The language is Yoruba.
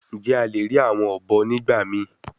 Njẹ a le rii awọn obo nigbamii?